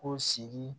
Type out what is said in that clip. Ko sigi